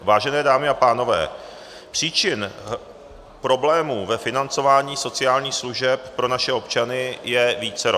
Vážené dámy a pánové, příčin problémů ve financování sociálních služeb pro naše občany je vícero.